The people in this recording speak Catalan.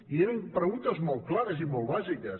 i eren preguntes molt clares i molt bàsiques